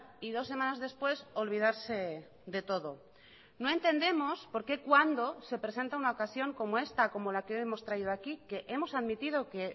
y dos semanas después olvidarse de todo no entendemos por qué cuando se presenta una ocasión como esta como la que hemos traído aquí que hemos admitido que